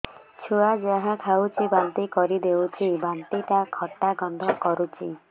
ଛୁଆ ଯାହା ଖାଉଛି ବାନ୍ତି କରିଦଉଛି ବାନ୍ତି ଟା ଖଟା ଗନ୍ଧ କରୁଛି